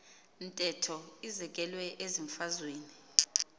ntetho izekelwe ezimfazweni